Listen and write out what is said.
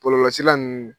Bɔlɔlɔsira ninnu